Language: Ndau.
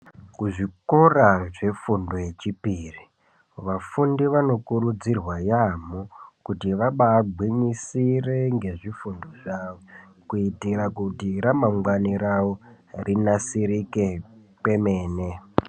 Kuzvikora zvefundo yechipiri vafundi vanokurudzirwa yaamho kuti vagwinyisire ngezvifundo zvavo. Kuitira kuti ramangwani ravo rinasirike kwemene.